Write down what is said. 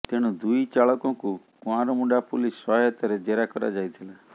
ତେଣୁ ଦୁଇ ଚାଳକଙ୍କୁ କୁଆଁରମୁଣ୍ଡା ପୁଲିସ ସହାୟତାରେ ଜେରା କରାଯାଇଥିଲା